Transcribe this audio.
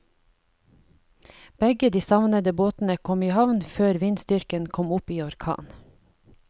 Begge de savnede båtene kom i havn før vindstyrken kom opp i orkan.